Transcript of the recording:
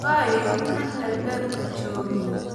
Waa ayo kan albaabka jooga?